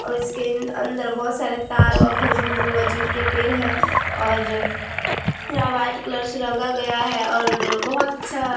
और इसके अंदर बहुत सारे तार व खजूर-वजुर के पेड़ है और यह व्हाइट कलर से रंगा गया है और बहुत अच्छा --